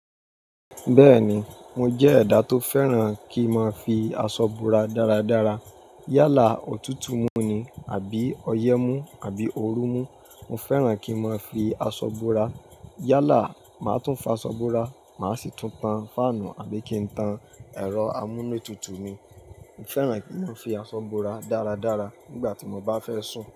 Bẹ́ẹ̀ni, mo jẹ́ ẹ̀dá tó fẹ́ràn kí n máa fi aṣọ bora dáradára. Yálà, òtútù mú ni àbí ọyẹ́ mú àbí ooru mú, mo fẹ́ràn kí n máa fi aṣọ bora. Yálà, màá tún fọ aṣọ búra, màá sì tún tan fáànù àbí kí n tan ẹ̀rọ amúnútutù mi. Mo fẹ́ràn kí n máa fi aṣọ búra dáradára nígbà tí mo bá fẹ́ sùn.